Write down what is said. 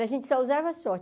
A gente só usava short.